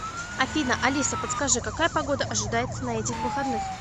афина алиса подскажи какая погода ожидается на этих выходных